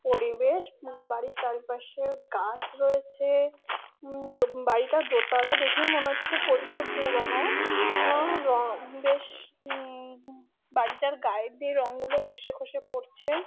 পরিবেশ ম-গা বাড়ির চারিপাশে গাছ রয়েছে। উম দোব বাড়িটা দোতালা দেখেই মনে হচ্ছে প্রচুর পুরনো। হু-ও-র বেশ উম-ম বাড়িটার গায়ে দিয়ে রং গুলো খসে খসে পড়ছে।